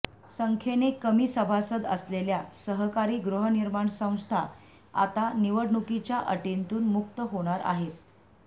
संख्यने कमी सभासद असलेल्या सहकारी गृहनिर्माण संस्था आता निवडणुकीच्या अटींतून मुक्त होणार आहे